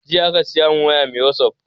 Jiya aka siya mun waya mai wasap